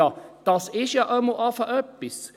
Ja, das ist ja schon einmal etwas!